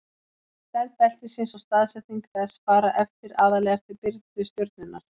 stærð beltisins og staðsetning þess fara eftir aðallega eftir birtu stjörnunnar